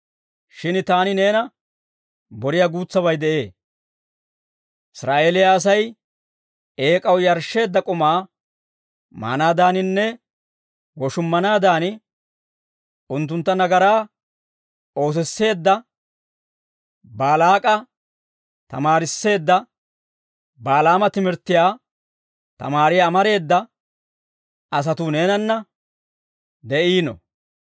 Shin taani neena boriyaa guutsabay de'ee; Israa'eeliyaa Asay eek'aw yarshsheedda k'umaa maanaadaaninne woshummanaadan unttuntta nagaraa oosisseedda Baalaak'a tamaarisseedda Balaama timirttiyaa tamaariyaa amareeda asatuu neenanna de'iino.